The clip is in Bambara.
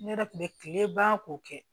Ne yɛrɛ kun bɛ tile ban k'o kɛ